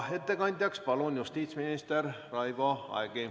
Ettekandjaks palun siia justiitsminister Raivo Aegi.